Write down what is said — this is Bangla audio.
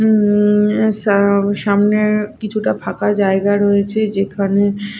উম সাম সামনে কিছুটা ফাঁকা জায়গা রয়েছে যেখানে--